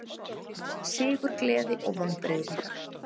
Sigurgleði og vonbrigði